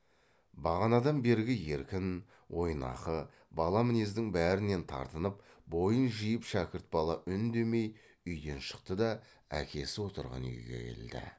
бағанадан бергі еркін ойнақы бала мінездің бәрінен тартынып бойын жиып шәкірт бала үндемей үйден шықты да әкесі отырған үйге келді